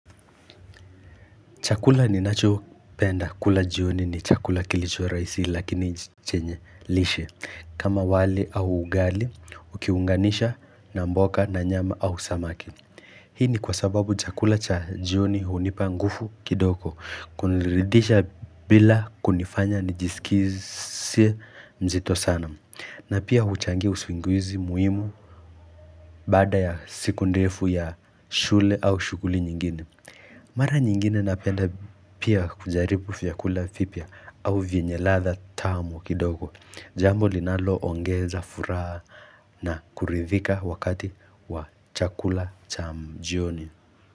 Chakula ninacho penda kula jioni ni chakula kilicho rahisi lakini chenye lishe kama wali au ugali ukiunganisha na mboga na nyama au samaki Hii ni kwa sababu chakula cha jioni hunipa nguvu kidogo kuniridisha bila kunifanya nijisikizie mzito sana na pia huchangia usingizi muhimu Bada ya siku ndefu ya shule au shughuli nyingine. Mara nyingine napenda pia kujaribu vyakula vipya au vyenye ladha tamu kidogo. Jambo linalo ongeza furaha na kuridhika wakati wa chakula cha jioni.